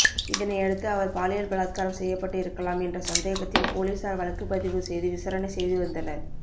இதனையடுத்து அவர் பாலியல் பலாத்காரம் செய்யப்பட்டு இருக்கலாம் என்ற சந்தேகத்தில் போலீசார் வழக்குப்பதிவு செய்து விசாரணை செய்து வந்தனர்